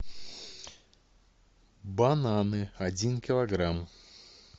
бананы один килограмм